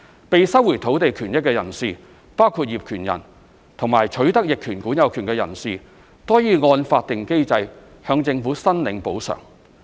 被收回土地權益的人士，包括業權人及取得逆權管有權的人士，均可按法定機制向政府申領補償。